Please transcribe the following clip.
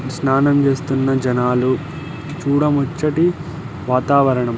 స్నానం చేస్తున్న జనాలు. చూడముచ్చటి వాతావరణం----